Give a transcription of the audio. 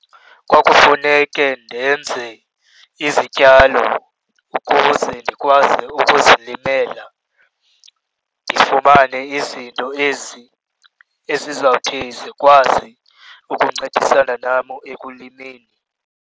Kwakufuneke ndenze izityalo ukuze ndikwazi ukuzilimela, ndifumane izinto ezi ezizawuthi zikwazi ukuncedisana nam ekulimeni.